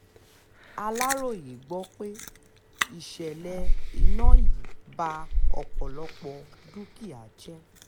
aláròye gbọ́ pé ìṣẹ̀lẹ̀ iná yìí ba ọ̀pọ̀lọpọ̀ dúkìá jẹ́